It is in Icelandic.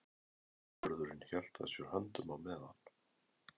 Vörðurinn hélt að sér höndum á meðan